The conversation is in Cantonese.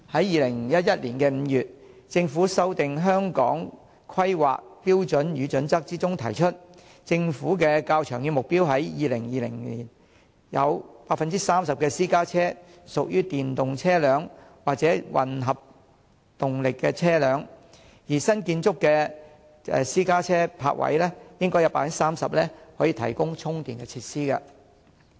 2011年5月，政府修訂《香港規劃標準與準則》，指出政府的較長遠目標是在2020年有 30% 私家車屬於電動車輛或混合動力車輛，而新建築的私家車泊位應有 30% 可以提供充電設施。